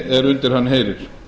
er undir hann heyrir